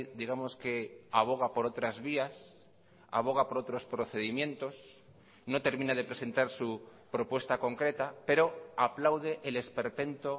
digamos que aboga por otras vías aboga por otros procedimientos no termina de presentar su propuesta concreta pero aplaude el esperpento